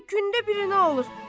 Elə gündə birini alır.